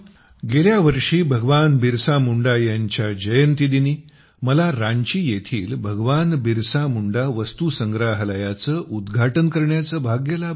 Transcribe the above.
गेल्या वर्षी भगवान बिरसा मुंडा यांच्या जयंतीदिनी मला रांची येथील भगवान बिरसा मुंडा वस्तुसंग्रहालयाचे उद्घाटन करण्याचे भाग्य लाभले